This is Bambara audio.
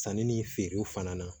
Sanni ni feerew fana na